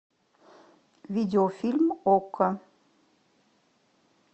видеофильм окко